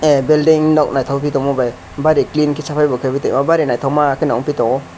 a belding nog noitok ke tongma bai bari clean ke safai bo kebo tongo bari naitok ma ke wngpi tongo.